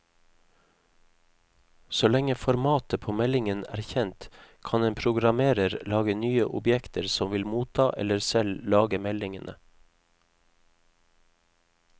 Så lenge formatet på meldingen er kjent, kan en programmerer lage nye objekter som vil motta eller selv lage meldingene.